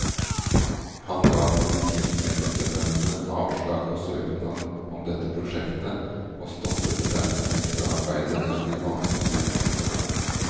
Han ga polititjenestemennene avslag på søknad om dette prosjektet, og stoppet dermed ekstraarbeidet med de vanskelige ungdommene.